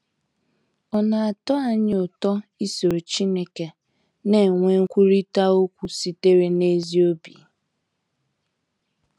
Ọ̀ na - atọ anyị ụtọ isoro Chineke na - enwe nkwurịta okwu sitere n’ezi obi?